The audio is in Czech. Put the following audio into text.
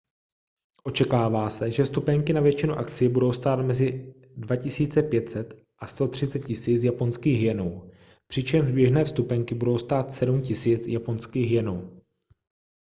očekává se že vstupenky na většinu akcí budou stát mezi 2 500 a 130 000 japonských jenů přičemž běžné vstupenky budou stát 7 000 japonských jenů